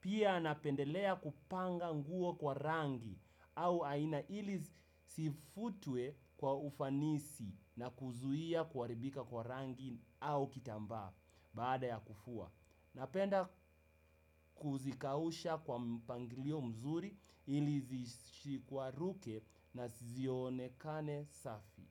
pia napendelea kupanga nguo kwa rangi au aina ili zifutwe kwa ufanisi na kuzuia kuharibika kwa rangi au kitambaa baada ya kufua. Napenda kuzikausha kwa mpangilio mzuri ili zisigwaruke na zionekane safi.